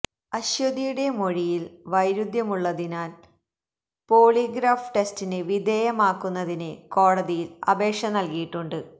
അശ്വതിയുടെ മൊഴിയില് വൈരുധ്യമുള്ളതിനാല് പോളീഗ്രാഫ് ടെസ്റ്റിന് വിധേയമാക്കുന്നതിന് കോടതിയില് അപേക്ഷ നല്കിയിട്ടുണ്ട്